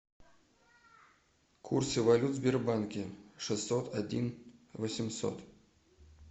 курсы валют в сбербанке шестьсот один восемьсот